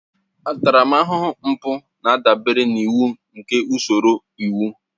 Ntaramahụhụ mpụ na-adabere n'iwu nke usoro iwu